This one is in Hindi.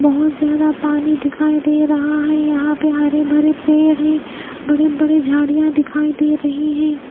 बहोत ज्यादा पानी दिखाई दे रहा है यहां पे हरे भरे पेड़ है बड़ी बड़ी झाड़ियां दिखाई दे रही है।